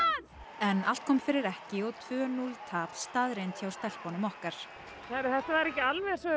en allt kom fyrir ekki og tvö núll tap staðreynd hjá stelpunum okkar heyrðu þetta var ekki alveg eins og við